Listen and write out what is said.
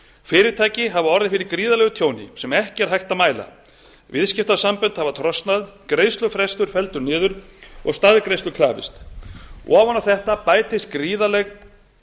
fyrirtæki hafa orðið fyrir gríðarlegu tjóni sem ekki er hægt að mæla viðskiptasambönd hafi trosnað greiðslufrestur felldur niður og staðgreiðslu krafist ofan á þetta bætist gríðarleg